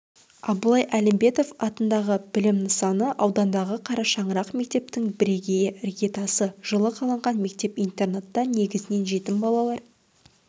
абылай әлімбетов атындағы білім нысаны аудандағы қарашаңырақ мектептің бірегейі іргетасы жылы қаланған мектеп-интернатта негізінен жетім балалар